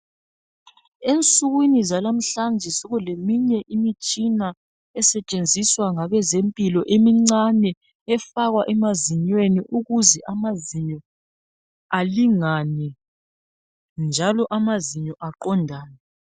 Ensukwini zalamhlanje sokuleminye imitshina esetshenziswa ngabezempilo emincane efakwa emazinyweni ukuze amazinyo alingane njalo amazinyo aqondane .